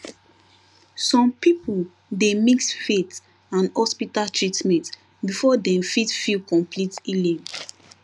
some people dey mix faith and hospital treatment before dem fit feel complete healing